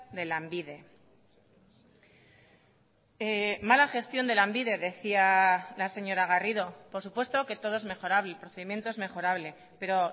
de lanbide mala gestión de lanbide decía la señora garrido por supuesto que todo es mejorable el procedimiento es mejorable pero